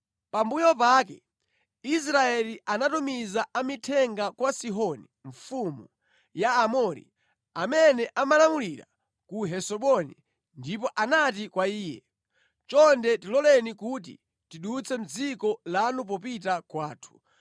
“Pambuyo pake Israeli anatumiza amithenga kwa Sihoni mfumu ya Aamori, amene amalamulira ku Hesiboni ndipo anati kwa iye, ‘Chonde tiloleni kuti tidutse mʼdziko lanu popita kwathu.’